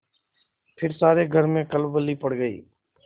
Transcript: फिर सारे घर में खलबली पड़ गयी